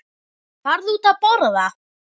Farðu út að borða.